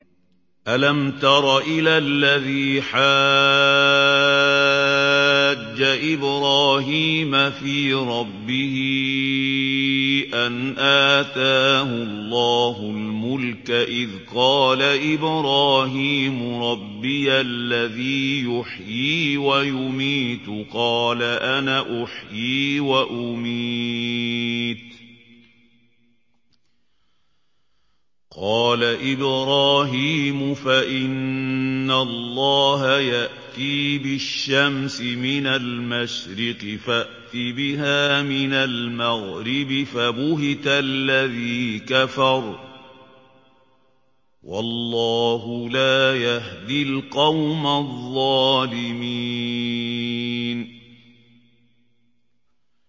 أَلَمْ تَرَ إِلَى الَّذِي حَاجَّ إِبْرَاهِيمَ فِي رَبِّهِ أَنْ آتَاهُ اللَّهُ الْمُلْكَ إِذْ قَالَ إِبْرَاهِيمُ رَبِّيَ الَّذِي يُحْيِي وَيُمِيتُ قَالَ أَنَا أُحْيِي وَأُمِيتُ ۖ قَالَ إِبْرَاهِيمُ فَإِنَّ اللَّهَ يَأْتِي بِالشَّمْسِ مِنَ الْمَشْرِقِ فَأْتِ بِهَا مِنَ الْمَغْرِبِ فَبُهِتَ الَّذِي كَفَرَ ۗ وَاللَّهُ لَا يَهْدِي الْقَوْمَ الظَّالِمِينَ